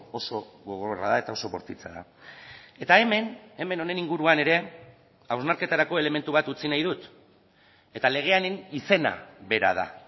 oso gogorra da eta oso bortitza da eta hemen hemen honen inguruan ere hausnarketarako elementu bat utzi nahi dut eta legearen izena bera da